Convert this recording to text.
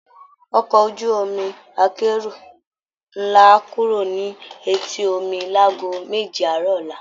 Ọkọ̀ ojú-omi akẹ́rù ńlá á kúrò ní etí omi láago méje àárọ̀ ọ̀la